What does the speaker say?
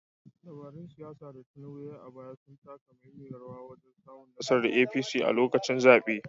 Dabarun siyasa da Tinubu ya yi a baya sun taka muhimmiyar rawa wajen samun nasarar APC a lokacin zaɓe.